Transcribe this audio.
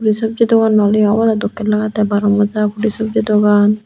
hi sobji dogan nawoleyo obodey dokkey lagettey baro moja puli sobji dogan.